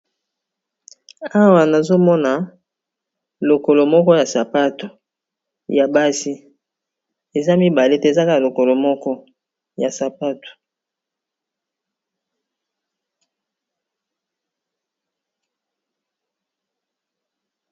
Awa nazomona lokolo moko ya sapato ya basi eza mibale te ezaka lokolo moko ya sapato.